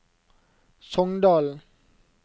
Songdalen